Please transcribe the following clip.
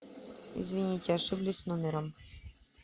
извините ошиблись номером